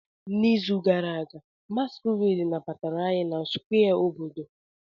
N'izu gara aga, masquerades nabatara anyị na Square obodo.